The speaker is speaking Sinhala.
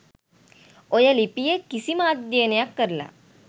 ඔය ලිපිය කිසිම අධ්‍යයනයක් කරල